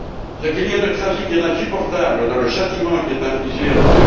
Ce qu'il y a de tragique et d'insupportable dans le châtiment qui est infligé à M.